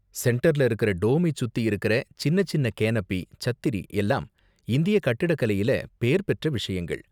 சென்டர்ல இருக்குற டோமை சுத்தி இருக்குற சின்னச் சின்ன கேனபி, சத்திரி எல்லாம் இந்திய கட்டிடக்கலையில பேர் பெற்ற விஷயங்கள்.